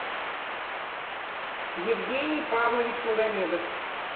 евгений павлович магомедов